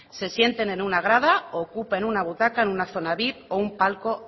se sienten en una grada u ocupen una butaca en una zona vip o un palco